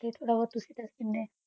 ਤੇ ਥੋਰਾ ਬੋਹਤ ਤੁਸੀਂ ਦਸ ਦੇਨੀ